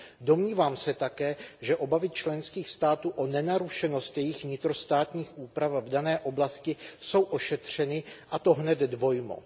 Domnívám se také, že obavy členských států o nenarušenost jejich vnitrostátních úprav v dané oblasti jsou ošetřeny, a to hned dvojmo.